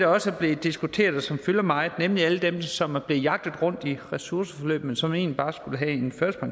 også er blevet diskuteret og som fylder meget nemlig alle dem som er blevet jagtet rundt i ressourceforløb men som egentlig bare skulle have en